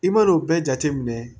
I man'o bɛɛ jate minɛ